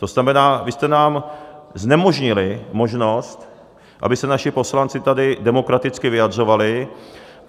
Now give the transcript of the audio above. To znamená, vy jste nám znemožnili možnost, aby se naši poslanci tady demokraticky vyjadřovali.